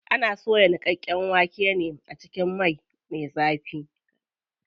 Ana soya niƙaƙƙen waken ne a cikin mai me zafi.